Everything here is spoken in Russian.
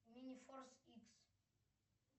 мини форс икс